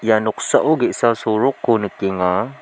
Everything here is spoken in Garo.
ia noksao ge·sa sorokko nikenga.